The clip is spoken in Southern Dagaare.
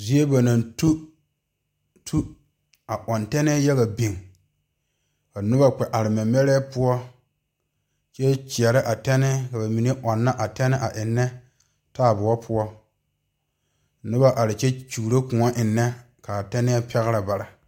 Zie ba tu tu a ɔɔ teŋe yaga biŋ ka noba kpɛ are mɛmɛrɛ poɔ kyɛ kyaare a tenne a enne taayɛdoɔ poɔ noba are kyɛ kyɔro kõɔ enne kaa tenee pareɛ baare.